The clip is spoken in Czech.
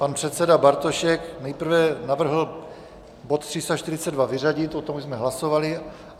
Pan předseda Bartošek nejprve navrhl bod 342 vyřadit, o tom jsme už hlasovali.